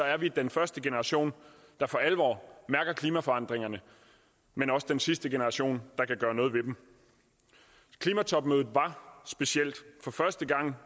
er vi den første generation der for alvor mærker klimaforandringerne men også den sidste generation der kan gøre noget ved dem klimatopmødet var specielt for første gang